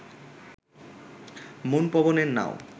মন পবনের নাও